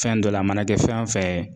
Fɛn dɔ la a mana kɛ fɛn o fɛɛ